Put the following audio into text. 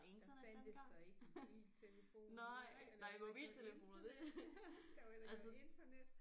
Der fandtes der ikke mobiltelefon nej eller internet der var heller ikke noget internet